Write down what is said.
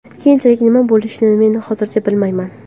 Keyinchalik nima bo‘lishini men hozircha bilmayman.